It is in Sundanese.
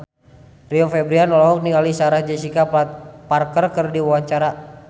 Rio Febrian olohok ningali Sarah Jessica Parker keur diwawancara